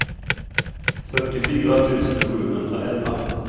fyrtiofyra tusen sjuhundraelva